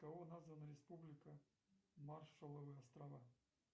кого названа республика маршалловы острова